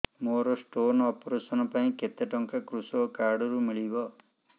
ମୋର stone operation ପାଇଁ କେତେ ଟଙ୍କା କୃଷକ କାର୍ଡ ରୁ ମିଳିବ